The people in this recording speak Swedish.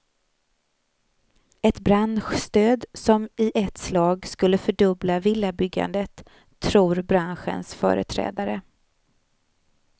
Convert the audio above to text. Ett branschstöd som i ett slag skulle fördubbla villabyggandet, tror branschens företrädare.